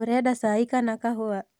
ũrenda cai kana kahũa?